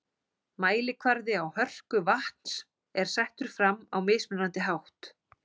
Mælikvarði á hörku vatns er settur fram á mismunandi hátt.